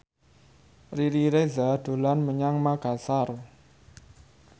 Riri Reza dolan menyang Makasar